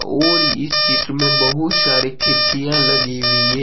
और चित्र में बहुत सारी खिड़कियां लगी हुई है।